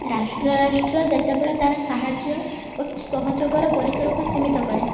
ରାଷ୍ଟ୍ର ରାଷ୍ଟ୍ର ଯେତେବେଳେ ତାର ସାହାଯ୍ୟ ଓ ସହଯୋଗ ର ପରିସର କୁ ସୀମିତ କରେ